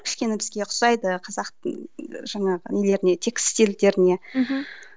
кішкене бізге ұқсайды қазақтың жаңағы нелеріне тестильдеріне мхм